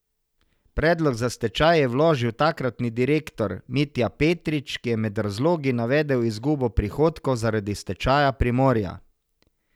Predlog za stečaj je vložil takratni direktor Mitja Petrič, ki je med razlogi navedel izgubo prihodkov zaradi stečaja Primorja.